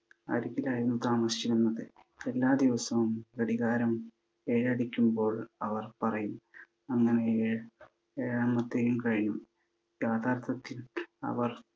അരികിലായിരുന്നു താമസിച്ചിരുന്നത്. എല്ലാ ദിവസവും ഘടികാരം ഏഴടിക്കുമ്പോൾ അവർ പറയും, അങ്ങനെ ഏഴാം~ഏഴാമത്തെയും കഴിഞ്ഞു. യാഥാർത്ഥത്തിൽ അവർ